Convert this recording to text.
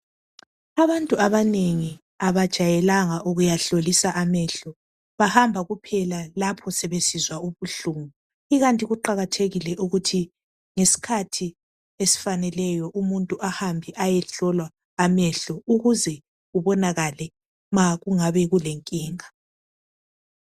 Abantu abanengi abajayelanga ukuyahlolisa amehlo bahamba kuphela lapho sebesinza ubuhlungu ikanti kuqakathekile ukuthi ngaskhathi esifaneleyo umuntu ahambe ayehlola amehlo ukuze kubonakale makungabe kulenkinga